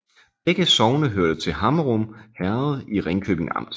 Begge sogne hørte til Hammerum Herred i Ringkøbing Amt